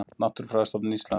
Náttúrufræðistofnun Íslands.